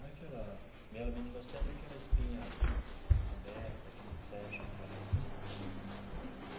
Não é aquela mielomeningocele é aquela espinha aberta que não fecha atrás, né?